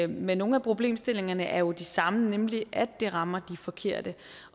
men nogle af problemstillingerne er jo de samme nemlig at det rammer de forkerte